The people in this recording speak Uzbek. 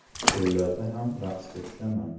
To‘ylarda ham raqsga tushaman.